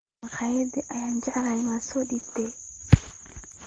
Makhaayada aan jeclahay ma soo dhiibtaa?